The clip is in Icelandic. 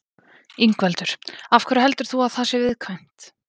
Ingveldur: Af hverju heldur þú að það sé viðkvæmt?